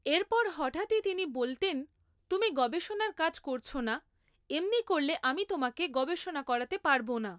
এরপর হঠাৎই তিনি বলতেন তুমি গবেষণার কাজ করছ না এমনি করলে আমি তোমাকে গবেষণা করাতে পারবো না